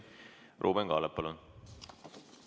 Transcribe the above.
Ruuben Kaalep, palun!